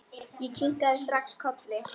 Ég kinkaði strax kolli.